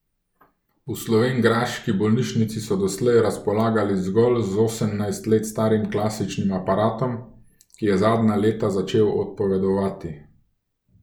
V slovenjgraški bolnišnici so doslej razpolagali zgolj z osemnajst let starim klasičnim aparatom, ki je zadnja leta začel odpovedovati.